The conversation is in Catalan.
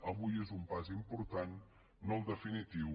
avui és un pas important no el definitiu